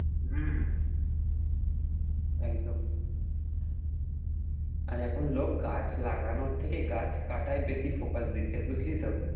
হম একদম আর এখন লোক গাছ লাগানোর থেকে গাছ কাটায় বেশি focus দিচ্ছে বুঝলি তো?